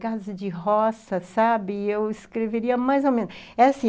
casa de roça, sabe,e eu escreveria mais ou menos. É assim